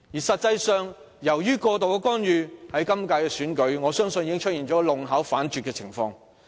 實際上，由於過度干預，今屆選舉已出現弄巧反拙的情況。